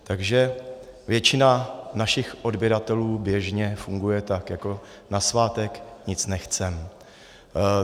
Takže většina našich odběratelů běžně funguje tak jako "na svátek nic nechceme".